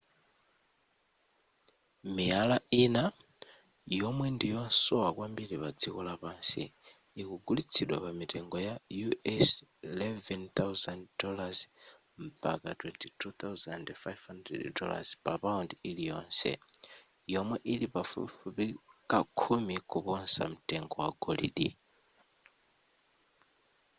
miyala ina yomwe ndi yosowa kwambiri pa dziko lapansi ikugulitsidwa pa mitengo ya us $ 11,000 mpaka $ 22,500 papaundi iliyonse yomwe ili pafupifupi kakhumi kuposa mtengo wa golide